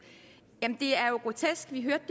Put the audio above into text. det er jo grotesk vi hørte